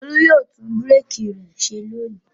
Olú yóò tún búrékì rẹ ṣe lónìí.